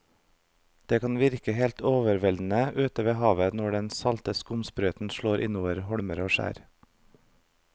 Det kan virke helt overveldende ute ved havet når den salte skumsprøyten slår innover holmer og skjær.